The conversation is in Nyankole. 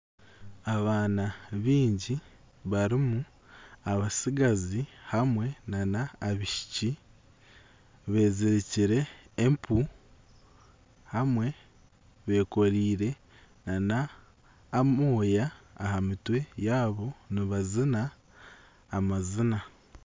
Abaana baingi barimu abatsigazi hamwe n'abaishiki beezirikire empu hamwe bekoreire n'amoya aha mitwe yaabo nibazina amazina.